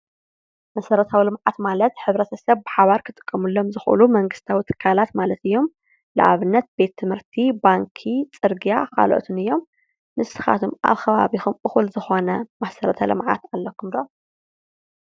መሰረታዊ ልምዓት ማለት ሕብረተሰብ ብሓባር ክጥቀመሎም ዝክእሉ መንግስታዊ ትካላት ማለት እዩም። ንኣብነት ቤት ትምህርቲ፣ ባንኪ፣ ፅርግያ ካልኦትን እዮም። ንስካትኩም ከ ኣብ ከባቢኩም እኩል ዝኮነ መሰረታዊ ልምዓት ኣለኩም ዶ?